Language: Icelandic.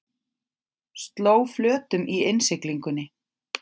Sló flötum í innsiglingunni